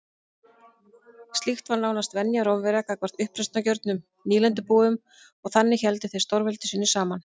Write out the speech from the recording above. Slíkt var nánast venja Rómverja gagnvart uppreisnargjörnum nýlendubúum og þannig héldu þeir stórveldi sínu saman.